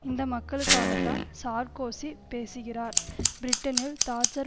இந்த மக்களுக்காகத்தான் சார்க்கோசி பேசுகிறார் பிரிட்டனில் தாட்சர்